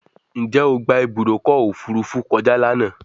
Njé o gbà Ibùdókọ̀ òfurufú kọjá lànà?